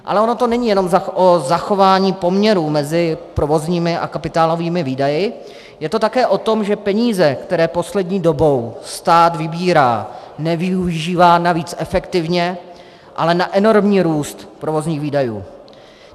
Ale ono to není jenom o zachování poměrů mezi provozními a kapitálovými výdaji, je to také o tom, že peníze, které poslední dobou stát vybírá, nevyužívá navíc efektivně, ale na enormní růst provozních výdajů.